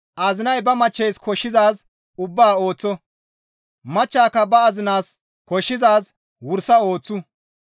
Azinay ba machcheys koshshizaaz ubbaa ooththo; machchaka ba azinaas koshshizaaz wursa ooththu.